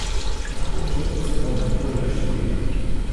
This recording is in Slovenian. Mogoče celo med prve štiri.